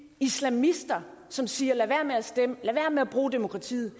islamister som siger lad være med at stemme lad være med at bruge demokratiet